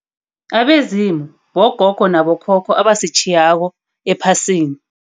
Abezimu, bogogo nabokhokho abasitjhiyako ephasini.